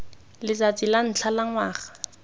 letsatsi la ntlha la ngwaga